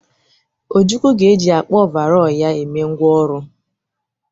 Ojukwu ga-eji akpa ọvarọọr ya eme ngwá ọrụ.